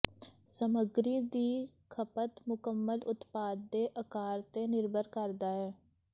ਸਮੱਗਰੀ ਦੀ ਖਪਤ ਮੁਕੰਮਲ ਉਤਪਾਦ ਦੇ ਅਕਾਰ ਤੇ ਨਿਰਭਰ ਕਰਦਾ ਹੈ